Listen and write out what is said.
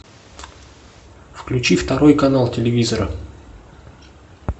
включи второй канал телевизора